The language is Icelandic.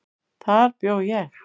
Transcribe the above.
Þar bjó ég.